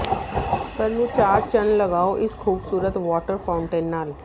ਘਰ ਨੂੰ ਚਾਰ ਚੰਨ ਲਗਾਓ ਇਸ ਖ਼ੂਬਸੂਰਤ ਵਾਟਰ ਫਾਉਟੇਨ ਨਾਲ